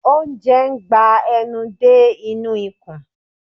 Oúnjẹ ń gba enú dé inú ikùn